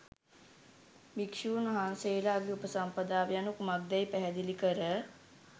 භික්ෂූන් වහන්සේලාගේ උපසම්පදාව යනු කුමක්දැයි පැහැදිලි කර